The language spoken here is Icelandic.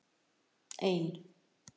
ein